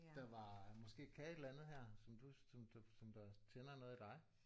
Der var måske kan et eller andet her som du som der som der tænder noget i dig